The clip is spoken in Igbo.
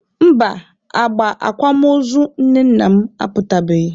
Mba, agba akwamozu nne nna m aputabeghị.